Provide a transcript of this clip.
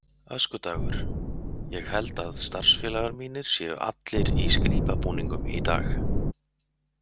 Öskudagur Ég held að starfsfélagar mínir séu allir í skrípabúningum í dag.